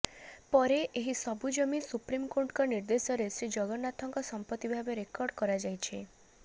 ପରେ ଏହି ସବୁ ଜମି ସୁପ୍ରିମକୋର୍ଟଙ୍କ ନିର୍ଦ୍ଦେଶରେ ଶ୍ରୀଜଗନ୍ନାଥଙ୍କ ସମ୍ପତ୍ତି ଭାବେ ରେକର୍ଡ କରଯାଇଛି